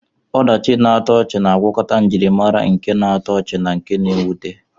Ọdachi na-atọ ọchị na-agwakọta njirimara nke na-atọ ọchị na nke mwute.